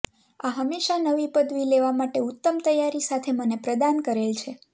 આ હંમેશાં નવી પદવી લેવા માટે ઉત્તમ તૈયારી સાથે મને પ્રદાન કરેલ છે